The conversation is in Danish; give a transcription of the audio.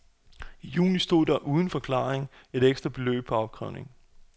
I juni stod der, uden forklaring, et ekstra beløb på opkrævningen.